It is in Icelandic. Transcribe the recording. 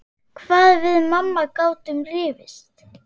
Hvað við mamma gátum rifist.